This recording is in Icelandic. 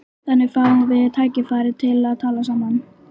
Þannig fáum við tækifæri til að tala saman